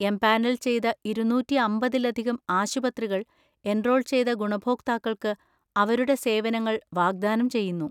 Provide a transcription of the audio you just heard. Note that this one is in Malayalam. എംപാനൽ ചെയ്ത ഇരുന്നൂറ്റി അമ്പതിലധികം ആശുപത്രികൾ, എൻറോൾ ചെയ്ത ഗുണഭോക്താക്കൾക്ക് അവരുടെ സേവനങ്ങൾ വാഗ്ദാനം ചെയ്യുന്നു.